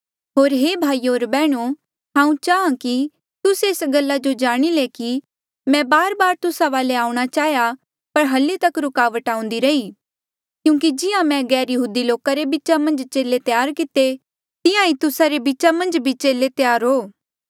होर हे भाईयो होर बैहणो हांऊँ चाहाँ कि तुस्से एस गल्ला जो जाणे कि मैं बारबार तुस्सा वाले आऊंणा चाहेया पर हली तक रुकावट आउंदी रही क्यूंकि जिहां मैं गैरयहूदी लोका रे बीचा मन्झ चेले त्यार किते तिहां ईं तुस्सा रे बीचा मन्झ भी चेले त्यार हो